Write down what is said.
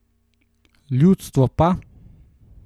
Ljudstvo pa?